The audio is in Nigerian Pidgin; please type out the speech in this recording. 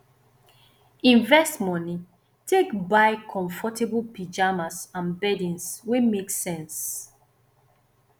invest money take buy comfortable pyjamas and beddings wey make sense